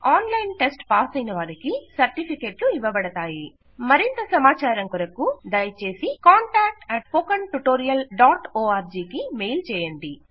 online test పాసైన వారికి సర్టిఫికేట్లు ఇవ్వబడతాయి మరింత సమాచారం కొరకు దయచేసి contactspoken tutorialorg కు మెయిల్ చేయండి